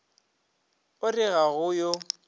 o re ga go yo